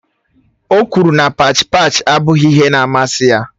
O kwuru na pach pach abụghị ihe na amasị ya